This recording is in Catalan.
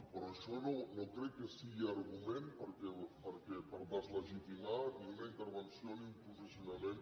però això no crec que sigui argument per deslegitimar ni una intervenció ni un posicionament